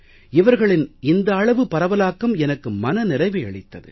இவர்களின் இந்த அளவு பரவலாக்கம் எனக்கு மன நிறைவை அளித்தது